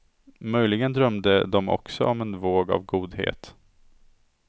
Möjligen drömde de också om en våg av godhet.